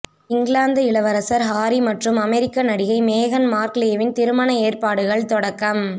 இங்கிலாந்து இளவரசர் ஹாரி மற்றும் அமெரிக்க நடிகை மேகன் மார்க்லேவின் திருமண ஏற்பாடுகள் தொடக்கம்